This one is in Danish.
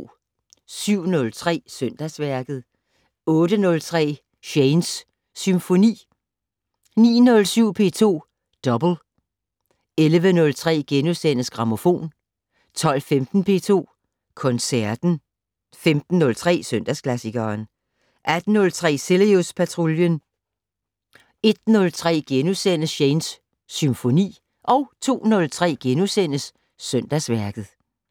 07:03: Søndagsværket 08:03: Shanes Symfoni 09:07: P2 Double 11:03: Grammofon * 12:15: P2 Koncerten 15:03: Søndagsklassikeren 18:03: Cilius Patruljen 01:03: Shanes Symfoni * 02:03: Søndagsværket *